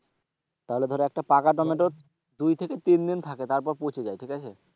তাহলে ধর একটা পাকা দানা তো দুই থেকে তিন দিন থাকে তারপর পচে যায় ঠিক আছে?